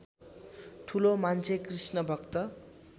ठुलो मान्छे कृष्णभक्त